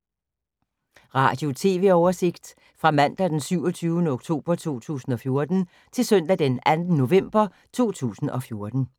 Radio/TV oversigt fra mandag d. 27. oktober 2014 til søndag d. 2. november 2014